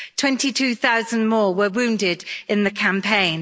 Twenty two thousand more were wounded in the campaign.